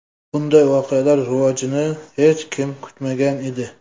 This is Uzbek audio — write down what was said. Bunday voqealar rivojini hech kim kutmagan edi.